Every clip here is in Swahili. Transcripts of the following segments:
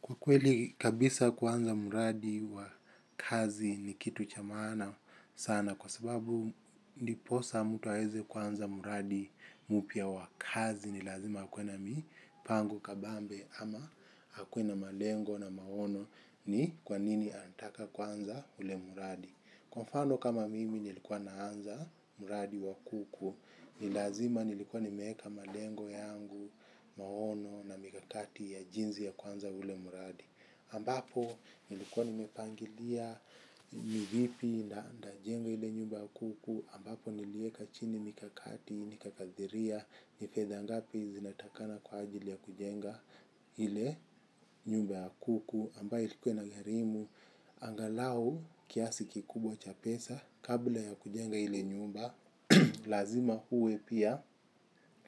Kwa kweli kabisa kwanza mradi wa kazi ni kitu cha maana sana kwa sababu ndipo hasa mtu aweze kuanza mradi mpya wa kazi ni lazima hakuwe na mipango kabambe ama akuwe na malengo na maono ni kwanini anataka kuanza ule mradi. Kwa mfano kama mimi nilikuwa naanza mradi wa kuku, ni lazima nilikuwa nimeweka malengo yangu, maono na mikakati ya jinsi ya kuanza ule mradi. Ambapo nilikuwa nimepangilia ni vipi najenga ile nyumba ya kuku, ambapo niliweka chini mikakati, nikakadiria, ni fedha ngapi zinatakana kwa ajili ya kujenga ile nyumba wa kuku. Ambayo ilikuwa inagharimu angalau kiasi kikubwa cha pesa kabla ya kujenga ile nyumba lazima uwe pia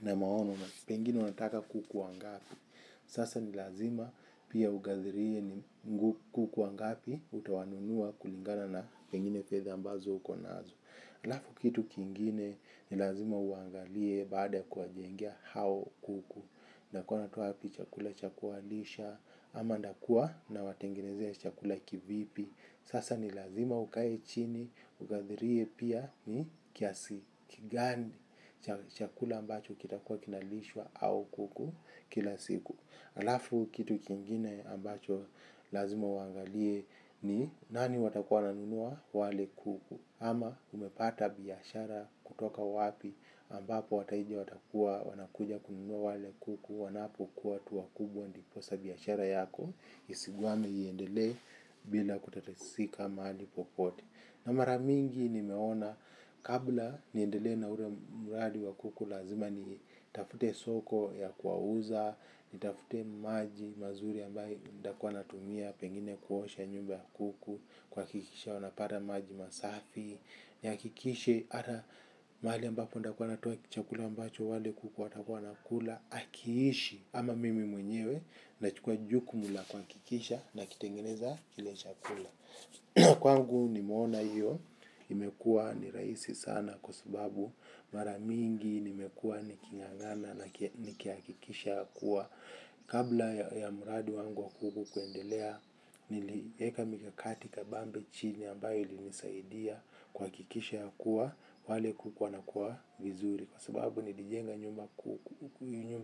na maono pengine unataka kuku wangapi, sasa ni lazima pia ukadilie ni kuku wangapi utawanunua kulingana na pengine fedha ambazo uko nazo alafu kitu kingine nilazima uangalie baada kuwajengea hao kuku unakua unatoa wapi chakula cha kuwalisha, ama nakua nawatengenezea chakula kivipi. Sasa ni lazima ukae chini. Ukadilie pia ni kiasi gani chakula ambacho kitakuwa kinalisha hao kuku kila siku. Alafu kitu kingine ambacho lazima uangalie ni nani watakuwa wananunua wale kuku ama umepata biashara kutoka wapi ambapo wateja watakuwa wanakuja kununua wale kuku wanapa kua tu kubwa ndipo hasa biashara yako jinsi gani iendelee bila kutatisika maali popote na maramingi nimeona kabla niendelee na ule mradi wa kuku, lazima nitafute soko ya kuwauza nitafute maji mazuri ambayo nitakuwa natumia pengine kuosha nyumba ya kuku kuhakikisha wanapada maji masafi nihakikishe ata maali ambapo nitakuwa natoa chakula ambacho wale kuku watakuwa wanakula hakiishi ama mimi mwenyewe nachukua jukumu la kuhakikisha nakitengeneza kile chakula. Kwangu nimeona hiyo. Imekuwa ni rahisi sana kwa sababu mara mingi nimekuwa niking'ang'ana na nikihakikisha ya kuwa, kabla ya mradi wangu kuku, kuendelea niliweka mikakati kabambe chini ambayo ilinisaidia kuhakikisha ya kuwa wale kuku wanakua vizuri kwa sababu nilijenga nyumba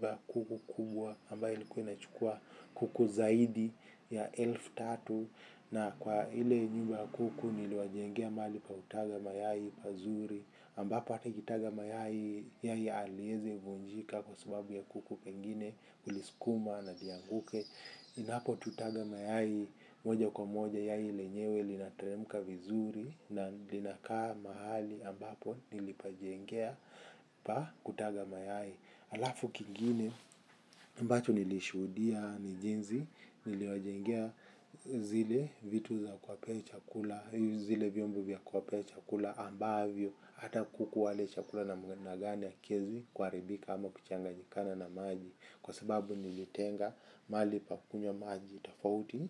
ya kuku kubwa ambayo ilikuwa inachukua kuku zaidi ya elfu tatu na kwa ile nyumba kuku niliwajengea mahali pa kutaga mayai pazuri ambapo hata ikitaga mayai yai haliweze vunjika kwa sababu ya kuku pengine kuliskuma na lianguke inapo tutaga mayai moja kwa moja yai lenyewe linatemka vizuri na linakaa mahali ambapo nilipajengea pa, kutaga mayai. Alafu kingine ambacho nilishuhudia ni jinsi niliwajengea zile vitu za kuwapea chakula zile vyombo vya kuwapea chakula ambavyo, hata kuku wale chakula namna gani hakiwezi kkuharibika ama kuchanganyikana na maji. Kwa sababu nilitenga mahali pa kunywa maji. Tafauti,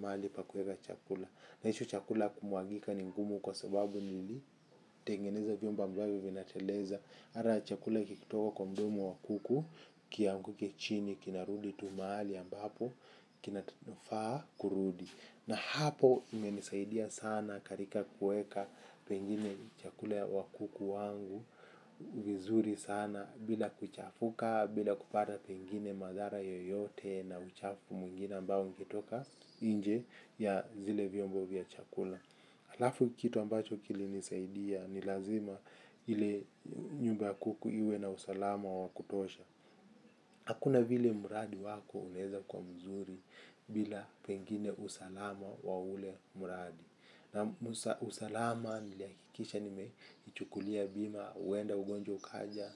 mahali pa kuweka chakula na hicho chakula kumwagika ni ngumu kwa sababu nilitengeneza vyumba ambavyo vinatereza mara chakula kikitoka kwa mdomo wa kuku kianguke chini kinarudi tu maali ambapo kinafaa kurudi. Na hapo imenisaidia sana katika kuweka pengine chakula ya kuku wangu vizuri sana bila kuchafuka bila kupata pengine madhara yoyote na uchafu mwingine ambao ungetoka nje ya zile vyombo vya chakula. Alafu kitu ambacho kilinisaidia ni lazima, ili nyumba kuku iwe na usalama wa kutosha. Hakuna vile mradi wako unaweza kuwa mzuri, bila pengine usalama wa ule mradi. Na usalama nilihakikisha nimechukulia bima huenda ugonjwa ukaja,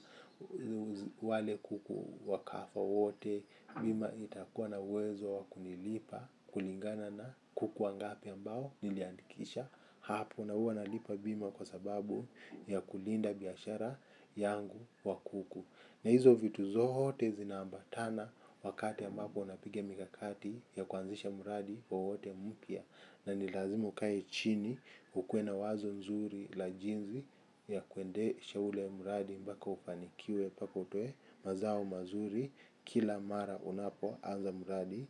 wale kuku wakafa wote, bima itakuwa na wezo wakunilipa kulingana na kuku wangapi mbao niliandikisha. Hapo na huwa nalipa bima kwa sababu ya kulinda biashara yangu wa kuku. Na hizo vitu zote zinaambatana wakati ambapo napiga mikakati ya kuanzisha mradi wowote mpya. Inanilazimu nikae chini ukewe na wazo nzuri la jinsi ya kuendesha ule mradi mpaka ufanikiwe mpaka utoe mazao mazuri kila mara unapo anza mradi.